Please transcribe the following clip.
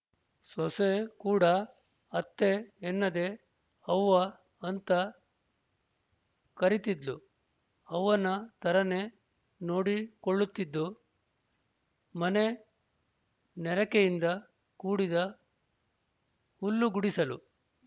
ಸೊಸೆ ಕೂಡ ಅತ್ತೆ ಎನ್ನದೇ ಅವ್ವ ಅಂತ ಕರಿತ್ತಿದ್ಲು ಅವ್ವನ ತರನೇ ನೋಡಿಕೊಳ್ಳುತ್ತಿದ್ದು ಮನೆ ನೆರಕೆಯಿಂದ ಕೂಡಿದ ಹುಲ್ಲುಗುಡಿಸಲು